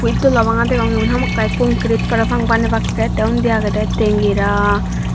witdola banga degong hamakkai concrit parapang banebakke te undi agede tengera.